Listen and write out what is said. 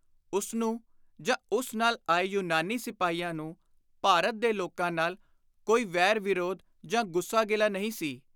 ਉਸਨੂੰ ਜਾਂ ਉਸ ਨਾਲ ਆਏ ਯੂਨਾਨੀ ਸਿਪਾਹੀਆਂ ਨੂੰ ਭਾਰਤ ਦੇ ਲੋਕਾਂ ਨਾਲ ਕੋਈ ਵੈਰ ਵਿਰੋਧ ਜਾਂ ਗੁੱਸਾ ਗਿਲਾ ਨਹੀਂ ਸੀ।